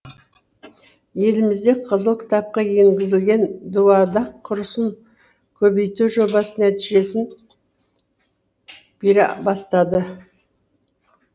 елімізде қызыл кітапқа енгізілген дуадақ құсын көбейту жобасы нәтижесін бере бастады